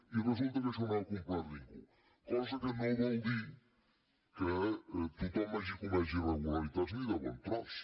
i resulta que això no ho ha complert ningú cosa que no vol dir que tothom hagi comès irregularitats ni de bon tros